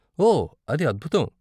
ఓ, అది అద్భుతం!